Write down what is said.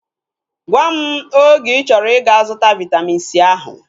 Gwam oge ịchọrọ ịga-zụta Vaitamin C ahu